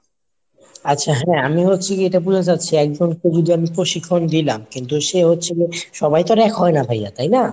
আচ্ছা হ্যাঁ। আমি হচ্ছে কি এইটা বুঝাতে চাচ্ছি একজনকে যদি আমি প্রশিক্ষণ দিলাম কিন্তু সে হচ্ছে হলো সবাই তো আর এক হয়না ভাইয়া তাই না?